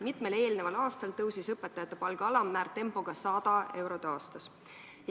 Mitmel eelneval aastal tõusis õpetajate palga alammäär tempoga 100 eurot aastas.